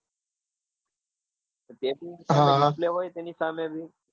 તેની સામે રહ્યું?